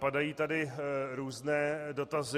Padají tady různé dotazy.